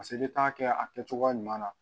n'i t'a kɛ a kɛ cogoya ɲuman na